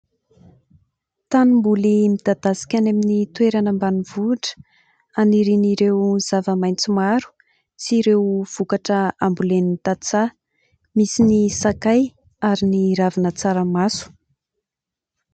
Tanimboly midadasika any amin'ny toerana ambanivohitra hanirian'ireo zava-maitso maro sy ireo vokatra ambolen'ny tantsaha, misy ny sakay ary ny ravina tsaramaso.